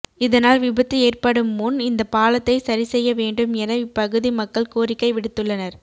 இதனால் விபத்து ஏற்படும் முன் இந்த பாலத்தை சரி செய்ய வேண்டும் என இப்பகுதி மக்கள் கோரிக்கை விடுத்துள்ளனா்